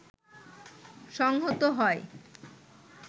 সংহত হয়